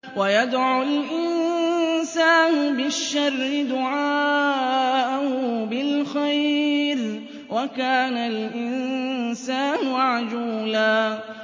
وَيَدْعُ الْإِنسَانُ بِالشَّرِّ دُعَاءَهُ بِالْخَيْرِ ۖ وَكَانَ الْإِنسَانُ عَجُولًا